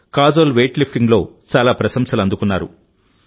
Kajol weight లిఫ్టింగ్లో చాలా ప్రశంసలు అందుకున్నారు